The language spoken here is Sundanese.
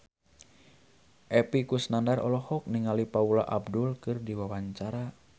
Epy Kusnandar olohok ningali Paula Abdul keur diwawancara